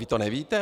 Vy to nevíte?